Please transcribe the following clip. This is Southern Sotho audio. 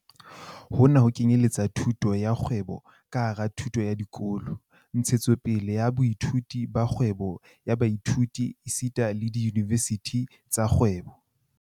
Hona ho kenyeletsa thuto ya kgwebo ka hara thuto ya dikolo, ntshetsopele ya boithuti ba kgwebo ya baithuti esita le diyunivesithi tsa kgwebo.